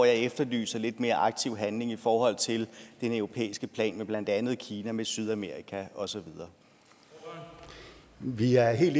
jeg efterlyser lidt mere aktiv handling i forhold til den europæiske plan med blandt andet med kina med sydamerika og så videre